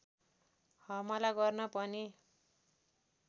हमला गर्न पनि